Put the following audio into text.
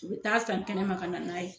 U bɛ taa san kɛnɛma ka na n'a ye.